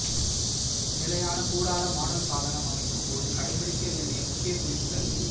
நிலையான கூடார மாடல் சாதனம் அமைக்கும்போது கடைபிடிக்க வேண்டிய முக்கிய குறிப்புகள்